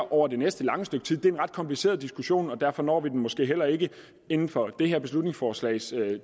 over det næste lange stykke tid det er en ret kompliceret diskussion og derfor når vi den måske heller ikke inden for det her beslutningsforslags